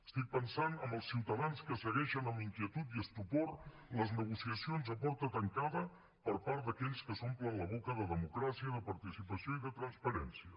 estic pensant en els ciutadans que segueixen amb inquietud i estupor les negociacions a porta tancada per part d’aquells que s’omplen la boca de democràcia de participació i de transparència